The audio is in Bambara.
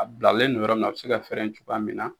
A bilalen no yɔrɔ min na a bɛ se ka fɛrɛn cogoya min na.